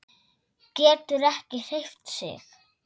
Getur ekki hreyft sig.